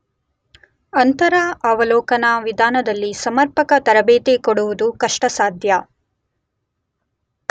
ಅಂತರವಲೋಕನವಿಧಾನದಲ್ಲಿ ಸಮರ್ಪಕ ತರಬೇತಿ ಕೊಡುವುದು ಕಷ್ಟಸಾಧ್ಯ.